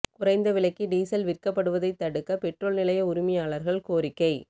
குறைந்த விலைக்கு டீசல் விற்கப்படுவதைத் தடுக்க பெட்ரோல் நிலைய உரிமையாளர்கள் கோரிக்கை